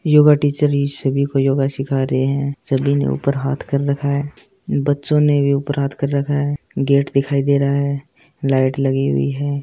Yoga teacher ही सभी को योगा सिखा रहे है सभी ने ऊपर हाथ कर रखा है बच्चों ने भी ऊपर हाथ कर रखा है गेट दिखाई दे रहा है लाइट लगी हुई है।